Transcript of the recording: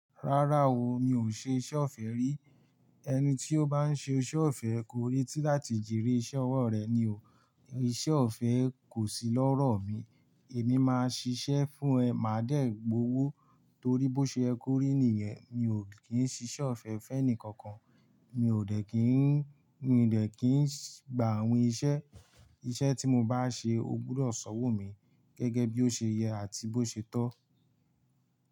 Rárá o, mi ò ṣe iṣẹ́ ọ̀fẹ́ rí. Ẹni tí ó bá ń ṣe iṣẹ́ ọ̀fẹ́, korí tí láti jere iṣẹ́ ọwọ́ rẹ̀ ni o. Iṣẹ́ ọ̀fẹ́ kò sí lọ́rọ̀ mi. Èmi máa ṣiṣẹ́ fún ẹ, màá dẹ̀ gbowó torí bó ṣe ye korí nìyẹn, mi ò kí ń ṣi iṣẹ́ ọ̀fẹ́ fẹ́ ẹni kankan. Mi ò dẹ̀ kín ń, mi ò dẹ̀ kín ń gba àwin iṣẹ́, iṣẹ́ tí mo bá ṣe, ó gbúdọ̀ ṣanwo mi gẹ́gẹ́ bí ó ṣe yẹ àti bó ṣe tọ́.